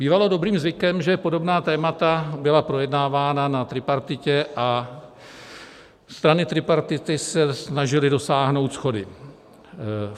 Bývalo dobrým zvykem, že podobná témata byla projednávána na tripartitě a strany tripartity se snažily dosáhnout shody.